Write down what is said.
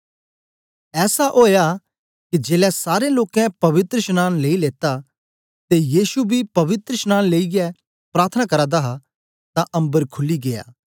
ऐसा ओया के जेलै सारें लोकें पवित्रशनांन लेई लेत्ता ते यीशु बी पवित्रशनांन लेईयै प्रार्थना करा दा हा तां अम्बर खुली गीया